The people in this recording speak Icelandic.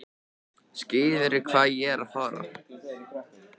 Skilurðu hvað ég er að fara?